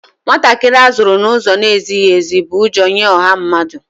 Ụmụntakịrị a zụrụ n'ụzọ na-ezighi ezi bụ ụjọ nye ọha mmadụ